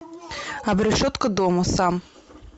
обрешетка дома сам